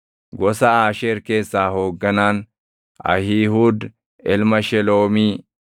gosa Aasheer keessaa hoogganaan, Ahiihuud ilma Sheloomii;